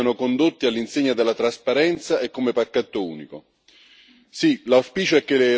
e a tal fine è un bene che essi siano condotti all'insegna della trasparenza e come pacchetto unico.